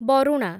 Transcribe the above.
Baruna